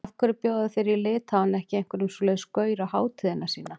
Af hverju bjóða þeir í Litháen ekki einhverjum svoleiðis gaur á hátíðina sína?